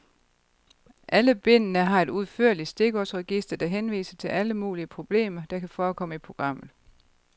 Alle bindene har et udførligt stikordsregister, der henviser til alle mulige problemer, der kan forekomme i programmet.